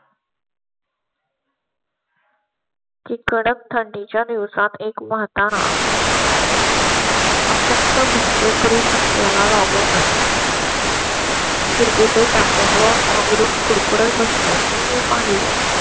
ची कडक थंडी च्या दिवसात एक म्हातारा. शकतं भिक्षेकरी कट्ट्या ला लागूनच. शिर कुठे ताळमेळ बसल्या चे मी पाहिले.